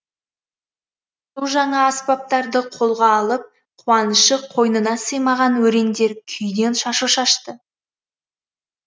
су жаңа аспаптарды қолға алып қуанышы қойнына сыймаған өрендер күйден шашу шашты